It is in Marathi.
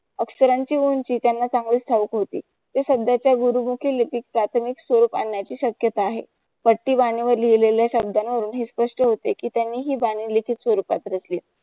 अक्षरांची उंची त्यांना चांगलीच ठाऊक होती. ती सध्याचा गुरुबोधी लिपीत प्राथमिक स्वरूप आणण्याची शक्यता आहे पट्टी बाणेवर लिहिले शब्दांना वरून हे स्पष्ट होते कि त्यांनी हि बानी लिपीत स्वरूपात रचली आहे.